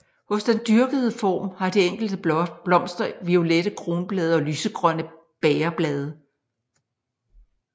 Hos den dyrkede form har de enkelte blomster violette kronblade og lysegrønne bægerblade